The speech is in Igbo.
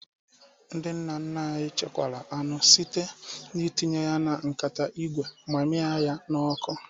Ndị nna nna anyị chekwara anụ site n'itinye ya na nkata ígwè ma miaa ya na-ọkụ